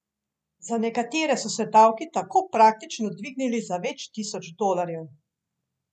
Za nekatere so se davki tako praktično dvignili za več tisoč dolarjev.